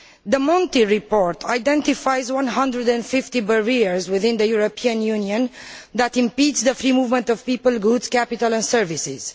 The Monti report identifies 150 barriers within the European Union that impede the free movement of people, goods, capital and services.